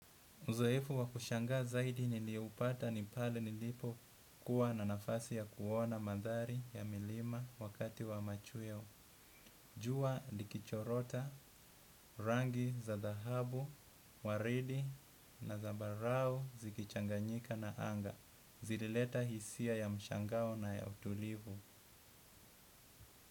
Uzoefu wakushanga zaidi nilioupata ni pale nilipo kuwa na nafasi ya kuona mandhari ya milima wakati wa machweo. Jua likichorota, rangi za dahabu, waridi na zambarau zikichanganyika na anga. Zilileta hisia ya mshangao na ya utulivu.